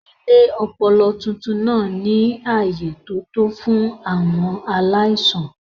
Ilé ọpọlọ tuntun náà ní ààyè tó tó fún àwọn aláìsàn.